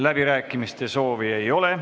Läbirääkimiste soovi ei ole.